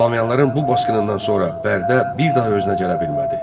Slaviyalıların bu basqınından sonra Bərdə bir daha özünə gələ bilmədi.